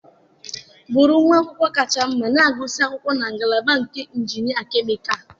Bụrụ nwa akwụkwọ kacha mma na-agụsị akwụkwọ na ngalaba nke injinịa kemịkalụ.